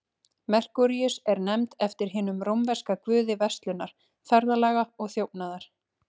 Merkúríus er nefnd eftir hinum rómverska guði verslunar, ferðalaga og þjófnaðar.